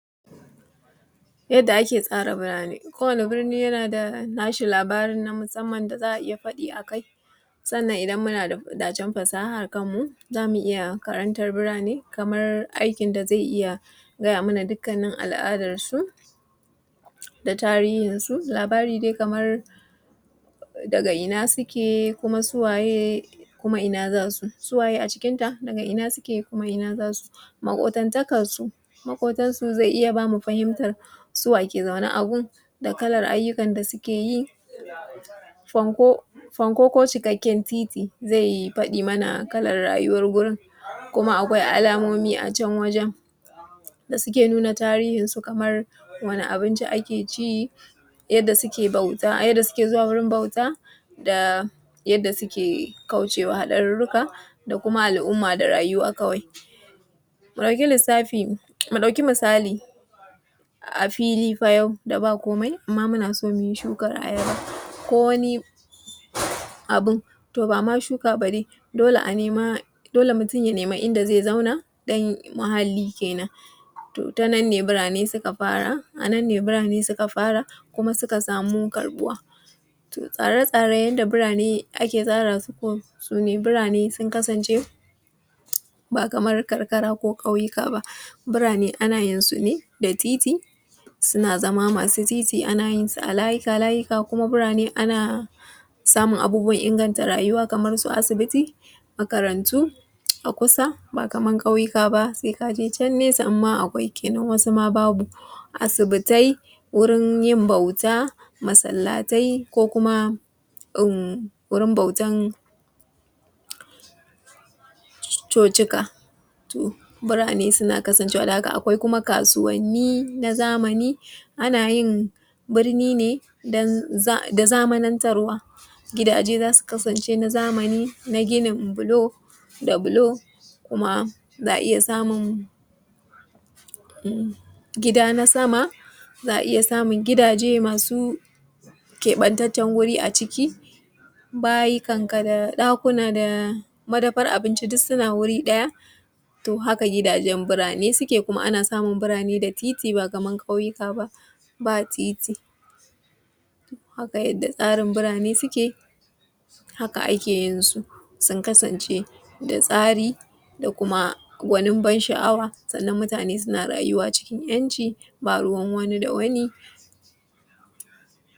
Zan yi magana ne kan yadda za ka tsara birane, wato tsara lokaci na aiki ko wurin kasuwanci ko na kamfani yana farawa ne daga ranakun da ake aiki kaman litini zuwa jumu’a sannan kuma ƙarfe takwas ko ƙarfe shida na safe zuwa na yamma. Sannan kuma lokacin da wani zai aiki wani zai karɓe shi zuwa wani lokaci yadda ya dace, sannan mafi yawa tsara lokutan aiki yana farawa ne da gano ma’aikata na wannan wurin da aka ɗauke su, a sa kowa ya yi aiki a lokacin da ya dace, sannan kuma wani aiki ya kamata ya yi misali kana da ma’aikata guda biyar sannan kana da ranaku litini zuwa juma’a. za ka iya sa ƙarfe takwas zuwa ƙarfe sha biyu wannan e ka za zai yi aiki sannan daga ƙarfe biyu zuwa shidan yamma wane zai yi aiki. Haka nan ran talata kuma ga irin aikin da zai yi haka shi zai ba ka dama ka riƙa kulawa da yanayin aiki a wannan ma’aikatan sannan kuma ka iya gane cewa wane ne yake yin wannan aikin idan kuma aiki na so ya lalace za ka iya gane wa ta ina ne matsalan take faruwa saboda ka samo maslaha. Yau za mu koyi bayani yadda za ka iya tsara jadawalinka na aiki akowane rana jadawalin aiki za a iya tsara shi bisa kowane rana ko wata bisa ga yanda ya fi maka sauƙi, na farko ya kamata ka san take na aikin ka wannan yana nufin jadawalin da aka tsara don yin aikin, na biyu ranakun mako a yawancin lokuta mutane suna zuwa aiki ne so biyar a rana wato daga litini zuwa jumaa ranan sati kuam ranan hutu ne saboda haka mutun ya tsara jadawalin aikin sa bisa ga ranakun mako akwai lokacin aiki yana nufin lokacin da ake fara aiki da kuma kamala shi misali ace takwas na safe zuwa biyar na yamma akwai ayyuka wanda suna nuni da aikin da zaa iya yi da dama Sannan mutane suke rayuwa a cikin ‘yanci babu rayuwa wani da wani.